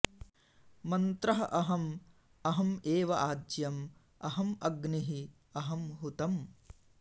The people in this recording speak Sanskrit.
मन्त्रः अहम् अहम् एव आज्यम् अहम् अग्निः अहम् हुतम्